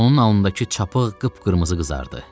Onun alnındakı çapıq qıpqırmızı qızardı.